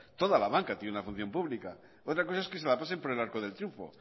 toda la banca tiene una función pública otra cosa es que se la pasen por el arco del triunfo